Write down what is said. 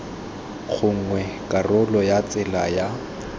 gongwe karolo ya tsela ya